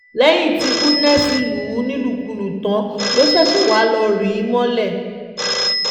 lẹ́yìn tí Goodness lù ú nílùkulù tán ló ṣẹ̀ṣẹ̀ wáá lọ́ọ́ rí i mọ́lẹ̀